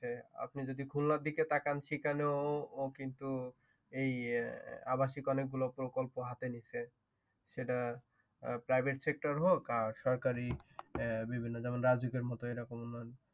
আপনি যদি খুলনার দিকে তাকান সেইখানেও কিছু আবাসিক অনেকগুলো প্রকল্প হাতে নিছে সেটা Prived Sector হোক আর সরকারি বিভিন্ন যেমন রাজুকের মতো এরকম